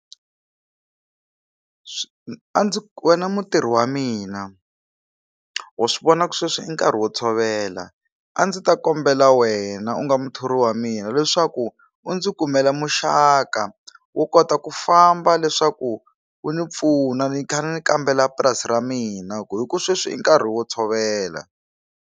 A ndzi wena mutirhi wa mina wa swi vona ku sweswi i nkarhi wo tshovela a ndzi ta kombela wena u nga muthori wa mina leswaku u ndzi kumela muxaka wo kota ku famba leswaku u ni pfuna ni kha ni kambela purasi ra mina ku hi ku sweswi i nkarhi wo tshovela.